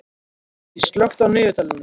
Borgdís, slökktu á niðurteljaranum.